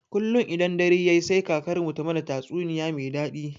Kullun idan dare yayi sai kakarmu ta mana tatsuniya me daɗi.